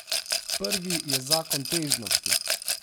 Prvi je zakon težnosti.